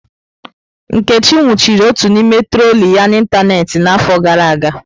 Nkechi nwụchiri otu n'ime troli ya n'ịntanetị n'afọ gara aga.